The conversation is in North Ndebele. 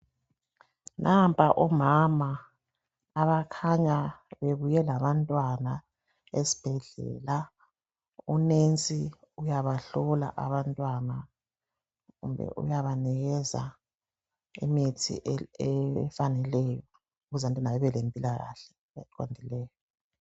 Nampa omama abakhanya belabantwana esibhedlela, unesi uyabahlola abantwana kumbe uyabanikeza imithi efaneleyo ukuze babelempilakahle eqondileyo.